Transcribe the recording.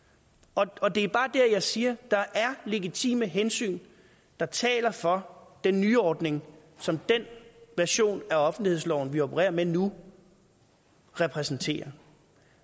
og det er bare der jeg siger at der er legitime hensyn der taler for den nyordning som den version af offentlighedsloven som vi opererer med nu repræsenterer